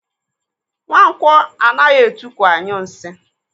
Nwankwọ anaghị etukwu anyụ nsị.